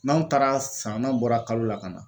N'anw taara san n'anw bɔra kalo la ka na